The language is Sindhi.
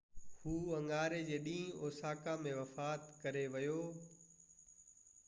هُو اڱاري جي ڏينهن اوساڪا ۾ وفات ڪري ويو